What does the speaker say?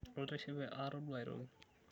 Atishipe aatodua aitoki.